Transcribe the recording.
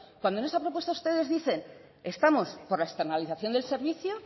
cuando en esa propuesta ustedes dicen estamos por la externalización del servicio